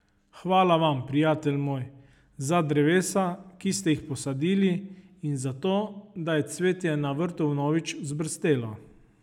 Hvala vam, prijatelj moj, za drevesa, ki ste jih posadili, in za to, da je cvetje na vrtu vnovič vzbrstelo.